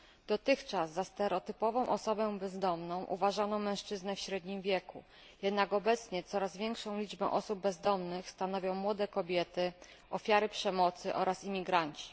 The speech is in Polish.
Dotychczas za stereotypową osobę bezdomną uważano mężczyznę w średnim wieku, jednak obecnie coraz większą liczbę osób bezdomnych stanowią młode kobiety, ofiary przemocy oraz imigranci.